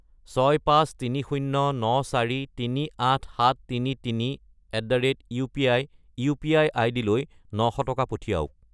65309438733@upi UPI. আইডিলৈ 900 টকা পঠিৱাওক।